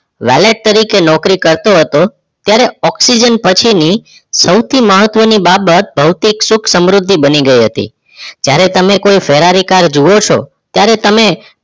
વેલટ તરીકે નોકરી કરતો હતો ત્યારે ઓક્સિજન પછી ની સૌથી મહત્વ ની બાબત ભોતિક સુખ સમૃદ્ધિ બનીગઈ હતી જયારે તમે કોઈ ફરારી જોવો છો ત્યારે તમે